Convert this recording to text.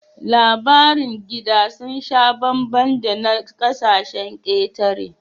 Labarin gida sun sha bambam da na ƙasashen ƙetare